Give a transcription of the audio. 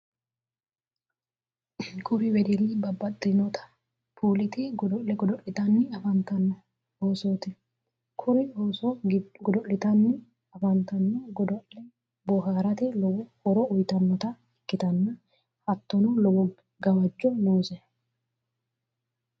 kuri wedelli babbaxcitinota puulete godo'le godo'litanni afantanno oosoti. kuri ooso godo'litanni afantanno godo'le booharate lowo horo uyitannota ikkitanna hattonni lowo gawajjo noose.